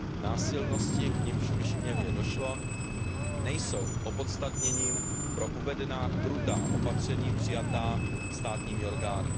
Násilnosti, k nimž v Kišiněvě došlo, nejsou opodstatněním pro uvedená krutá opatření přijatá státními orgány.